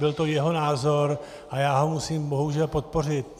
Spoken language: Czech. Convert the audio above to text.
Byl to jeho názor a já ho musím bohužel podpořit.